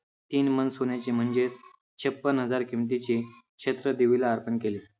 तीन मन सोन्याचे म्हणजेच छप्पन हजार किमतीचे छत्र देवीला अर्पण केले.